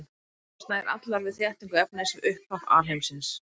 Þær mynduðust nær allar við þéttingu efnis við upphaf alheimsins.